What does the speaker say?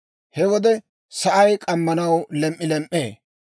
He wode sa'ay k'ammanaw lem"ilem"ee.